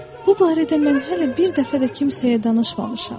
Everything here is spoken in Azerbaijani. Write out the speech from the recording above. Bu barədə mən hələ bir dəfə də kimsəyə danışmamışam.